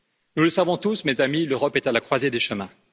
Nous le savons tous, mes amis, l'Europe est à la croisée des chemins.